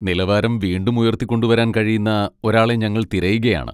നിലവാരം വീണ്ടും ഉയർത്തിക്കൊണ്ടുവരാൻ കഴിയുന്ന ഒരാളെ ഞങ്ങൾ തിരയുകയാണ്.